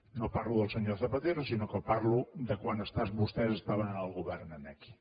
no parlo del senyor zapatero sinó que parlo de quan vostès estaven en el govern aquí